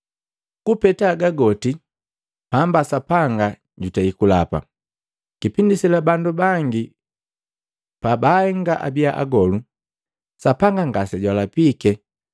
Kupeta haga goti, pamba Sapanga jutei kulapa. Kipindi sela, bandu bangi pa baahenga abia agolu, Sapanga ngase jwalapike.